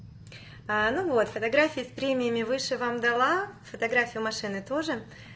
ну вот фотографии в премиуме выше вам дала фотографию машины тоже